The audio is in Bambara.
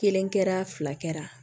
Kelen kɛra fila kɛra